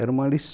Era uma lição